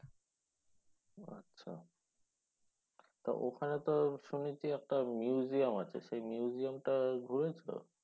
আচ্ছা তা ওখানে তো শুনেছি একটা museum আছে সেই museum টা ঘুরেছ?